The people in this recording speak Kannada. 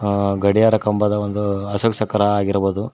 ಆ ಗಡಿಯಾರ ಕಂಬದ ಒಂದು ಅಸೋಕ ಚಕ್ರ ಆಗಿರಬಹುದು.